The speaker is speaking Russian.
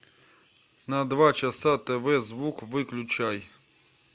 на два часа тв звук выключай